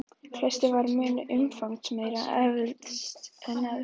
Klaustrið var því mun umfangsmeira efst en neðst.